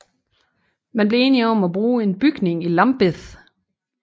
Man blev enige om at bruge en bygning i Lambeth